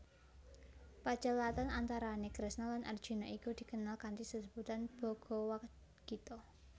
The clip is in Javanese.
Pacelathon antarane Kresna lan Arjuna iku dikenal kanthi sesebutan Bhagawadgita